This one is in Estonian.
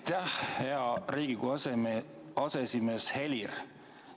Aitäh, hea Riigikogu aseesimees Helir!